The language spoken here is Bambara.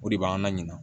O de b'an laɲina